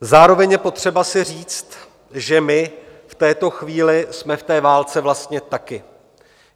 Zároveň je potřeba si říct, že my v této chvíli jsme v té válce vlastně taky.